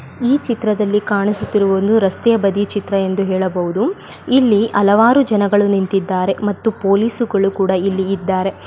ಈ ಚಿತ್ರದಲ್ಲಿ ಕಾಣಿಸುತ್ತಿರುವುದು ಒಂದು ರಸ್ತೆಯ ಬದಿಯ ಚಿತ್ರ ಎಂದು ಹೇಳಬಹುದು ಇಲ್ಲಿ ಹಲವಾರು ಜನಗಳು ನಿಂತಿದ್ದಾರೆ ಮತ್ತು ಪೋಲೀಸುಗಳು ಕೂಡಾ ಇಲ್ಲಿ ಇದ್ದಾರೆ .